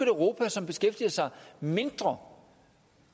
europa som beskæftiger sig mindre